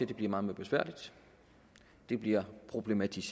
det bliver meget mere besværligt det bliver problematisk